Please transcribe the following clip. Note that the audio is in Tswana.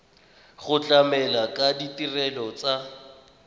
go tlamela ka ditirelo tsa